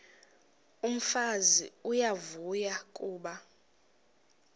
umfazi uyavuya kuba